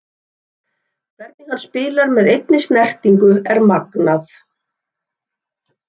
Hvernig hann spilar með einni snertingu er magnað.